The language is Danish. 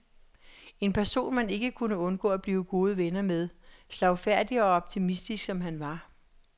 En person man ikke kunne undgå at blive gode venner med, slagfærdig og optimistisk som han var.